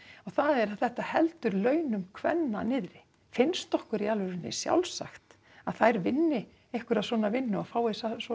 það er að þetta heldur launum kvenna niðri finnst okkur í alvörunni sjálfsagt að þær vinni einhverja svona vinnu og fái